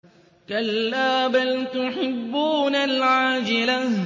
كَلَّا بَلْ تُحِبُّونَ الْعَاجِلَةَ